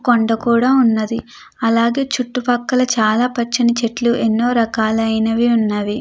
కొండ కూడా ఉన్నది. అలాగే చుట్టూ పక్కన చాలా పచ్చని చెట్లు ఎనో రకాలు ఐనవి ఉన్నవి.